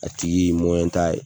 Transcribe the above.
A tigi t'a ye.